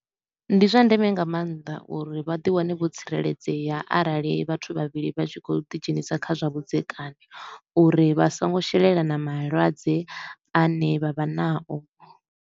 Ndi zwa ndeme nga maanḓa uri vha ḓi wane vho tsireledzea arali vhathu vhavhili vha tshi khou ḓi dzhenisa kha zwa vhudzekani uri vha so ngo shelelana malwadze a ne vha vha nao.